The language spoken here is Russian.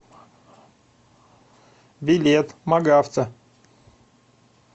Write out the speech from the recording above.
билет магавто